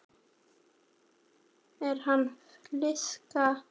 Er hann flaska?